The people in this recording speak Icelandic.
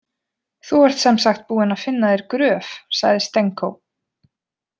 Þú ert sem sagt búinn að finna þér gröf, sagði Stenko.